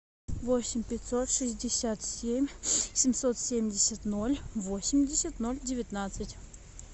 восемь пятьсот шестьдесят семь семьсот семьдесят ноль восемьдесят ноль девятнадцать